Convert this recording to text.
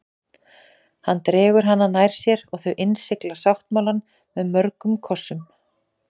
Hann dregur hana nær sér og þau innsigla sáttmálann með mörgum kossum.